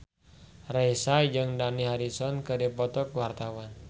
Raisa jeung Dani Harrison keur dipoto ku wartawan